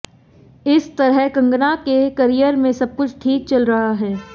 इस तरह कंगना के करियर में सबकुछ ठीक चल रहा है